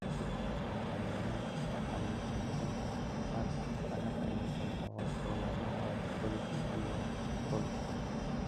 Shinnidu waa cayayaan ka caawiya horumarinta wax-soo-saarka dalagga iyada oo loo marayo pollination iyo pollination.